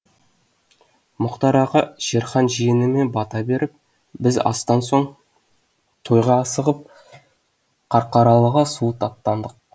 мұқтар аға шерхан жиеніме бата беріп біз астан соң тойға асығып қарқаралыға суыт аттандық